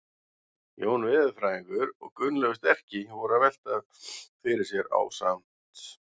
Jón veðurfræðingur og Gunnlaugur sterki voru að velta fyrir sér ásamt